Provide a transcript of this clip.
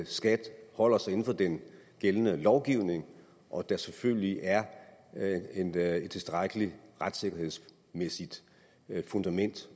skat holder sig inden for den gældende lovgivning og der selvfølgelig er er et tilstrækkelig retssikkerhedsmæssigt fundament